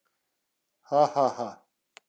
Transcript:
Ha ha ha!